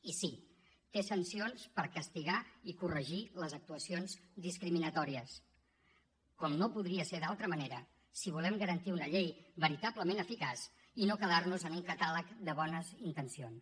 i sí té sancions per castigar i corregir les actuacions discriminatòries com no podria ser d’altra manera si volem garantir una llei veritablement eficaç i no quedar nos en un catàleg de bones intencions